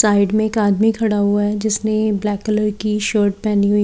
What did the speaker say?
side में एक आदमी खड़ा हुआ है जिसने ब्लैक कलर की शर्ट पहनी हुई--